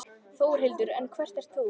Þórhildur: En hver ert þú?